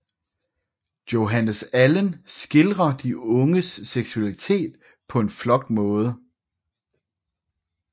Johannes Allen skildrer de unges seksualitet på en flot måde